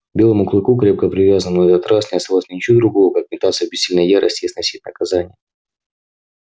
белому клыку крепко привязанному на этот раз не оставалось ничего другого как метаться в бессильной ярости и сносить наказание